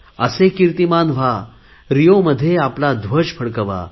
असे किर्तीमान व्हा रिओमध्ये आपला ध्वज फडकवा